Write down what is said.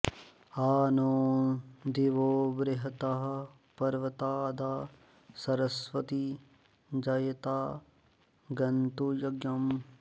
आ नो॑ दि॒वो बृ॑ह॒तः पर्व॑ता॒दा सर॑स्वती यज॒ता ग॑न्तु य॒ज्ञम्